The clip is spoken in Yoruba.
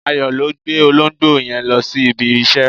Ayo ló gbé olóńgbò yen lọ si ibi ise